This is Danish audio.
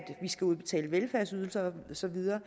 vi skal udbetale velfærdsydelser og så videre